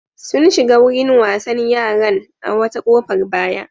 Sun shiga wurin wasan yaran a wata ƙofar baya.